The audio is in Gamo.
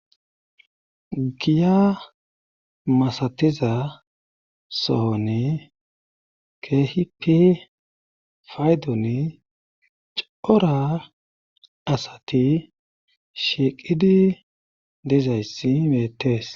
Giya masatiza sohonne keehipi paydoni cora asati shiiqidi dizayssi weetees.